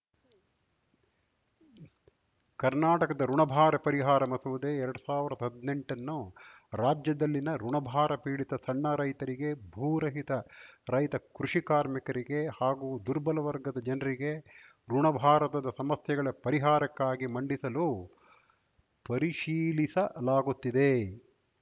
ಕರ್ನಾಟಕದ ಋುಣಭಾರ ಪರಿಹಾರ ಮಸೂದೆ ಎರಡ್ ಸಾವಿರ್ದಾ ಹದ್ನೆಂಟನ್ನು ರಾಜ್ಯದಲ್ಲಿನ ಋುಣಭಾರ ಪೀಡಿತ ಸಣ್ಣ ರೈತರಿಗೆ ಭೂರಹಿತ ರೈತ ಕೃಷಿ ಕಾರ್ಮಿಕರಿಗೆ ಹಾಗೂ ದುರ್ಬಲ ವರ್ಗದ ಜನರಿಗೆ ಋುಣಭಾರದ ಸಮಸ್ಯೆಗಳ ಪರಿಹಾರಕ್ಕಾಗಿ ಮಂಡಿಸಲು ಪರಿಶೀಲಿಸಲಾಗುತ್ತಿದೆ